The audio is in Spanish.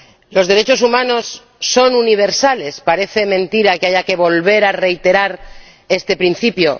Los derechos humanos son universales. Parece mentira que haya que volver a reiterar este principio.